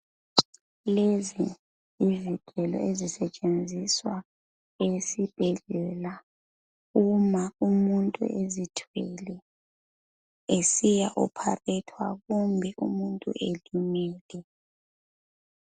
Lezi yizigelo, ezisetshenziswa esibhedlela, uma umuntu ezithwele. Esiya opharethwa. Kumbe umuntu elimele.